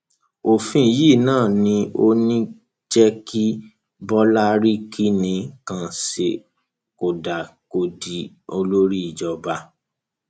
òfin yìí náà ni ò ní í jẹ kí bọlá rí kinní kan ṣe kódà kó di olórí ìjọba